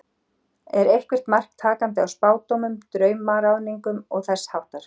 Er eitthvert mark takandi á spádómum, draumaráðningum og þess háttar?